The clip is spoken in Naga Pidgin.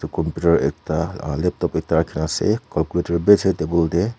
computer ekta uh laptop ekta raki na ase calculator b ase table de.